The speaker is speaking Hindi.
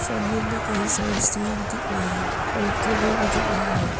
कमरे में कई सारे स्टूल भी दिख रहे हैं और एक टेबल भी दिख रही है।